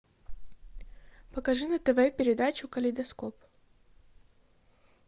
покажи на тв передачу калейдоскоп